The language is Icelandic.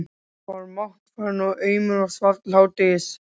Hann var máttfarinn og aumur og svaf til hádegis.